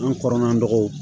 An kɔrɔla mɔgɔw